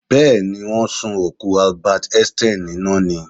Bẹ́́ẹ̀ ni, wọ́n sun òkú Albert einstein níná ni.